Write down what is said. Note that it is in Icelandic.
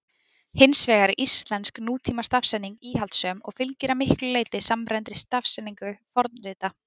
Hins vegar er íslensk nútímastafsetning íhaldssöm og fylgir að miklu leyti samræmdri stafsetningu fornrita.